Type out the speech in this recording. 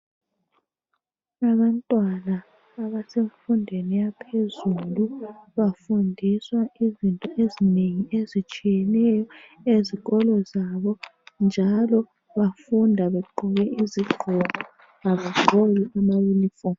Abantwana abasemfundweni yaphezulu bafundiswa izinto ezinengi ezitshiyeneyo ezikolo zabo njalo bafunda begqoke izigqoko kabagqoki amayunifomu.